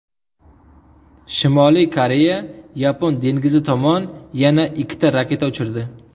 Shimoliy Koreya Yapon dengizi tomon yana ikki raketa uchirdi.